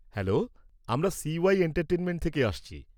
-Hello, আমরা CY entertainment থেকে আসছি।